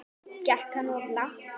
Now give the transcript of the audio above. Gekk hann of langt?